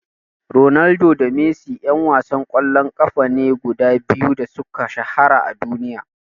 Ronaldo da Messi ƴan wasan ƙwallon ƙafa ne guda biyu da suka shahara a duniya.